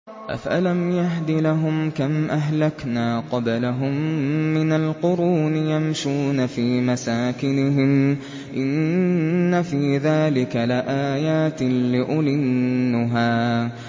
أَفَلَمْ يَهْدِ لَهُمْ كَمْ أَهْلَكْنَا قَبْلَهُم مِّنَ الْقُرُونِ يَمْشُونَ فِي مَسَاكِنِهِمْ ۗ إِنَّ فِي ذَٰلِكَ لَآيَاتٍ لِّأُولِي النُّهَىٰ